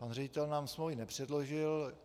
Pan ředitel nám smlouvy nepředložil.